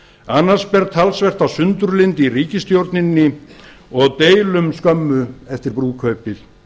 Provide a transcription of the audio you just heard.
annars ber talsvert á sundurlyndi í ríkisstjórninni og deilum skömmu eftir brúðkaupið